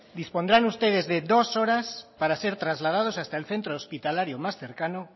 dispondrán ustedes de dos horas para ser trasladados hasta el centro hospitalario más cercano